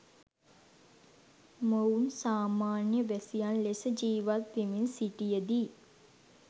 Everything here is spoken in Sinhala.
මොවුන් සාමාන්‍ය වැසියන් ලෙස ජීවත් වෙමින් සිටියදී